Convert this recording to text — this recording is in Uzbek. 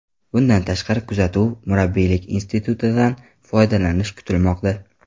Bundan tashqari, kuzatuv/murabbiylik institutidan foydalanish kutilmoqda.